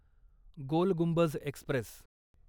गोल Gumbaz Express